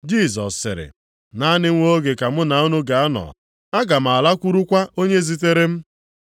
Jisọs sịrị, “Naanị nwa oge ka mụ na unu ga-anọ, aga m alakwurukwa onye zitere m.